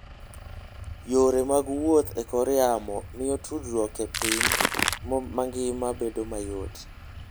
Yore mag wuoth e kor yamo miyo tudruok e piny mangima bedo mayot.